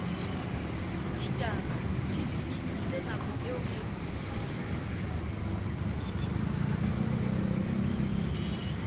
ditabatv e nkilenako eo re